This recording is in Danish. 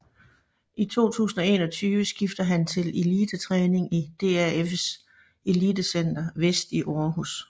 I 2021 skifter han til Elitetræning i DAFs elitecenter Vest i Aarhus